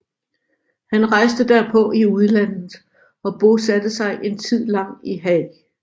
Han rejste derpå i udlandet og bosatte sig en tid lang i Haag